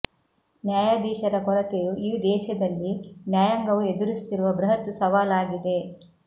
ನ್ಯಾಯಾಧೀಶರ ಕೊರತೆಯು ಈ ದೇಶದಲ್ಲಿ ನ್ಯಾಯಾಂಗವು ಎದುರಿಸುತ್ತಿರುವ ಬೃಹತ್ ಸವಾಲು ಆಗಿದೆ